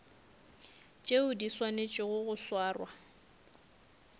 tšeo di swanetšego go swarwa